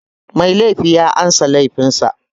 Mai laifi ya amsa laifin sa.